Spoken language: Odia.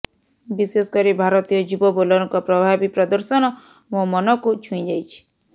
ବିଶେଷକରି ଭାରତୀୟ ଯୁବ ବୋଲରଙ୍କ ପ୍ରଭାବୀ ପ୍ରଦର୍ଶନ ମୋ ମନକୁ ଛୁଇଁ ଯାଇଛି